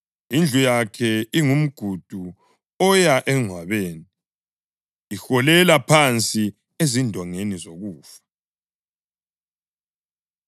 Indlu yakhe ingumgudu oya engcwabeni, iholela phansi ezindongeni zokufa.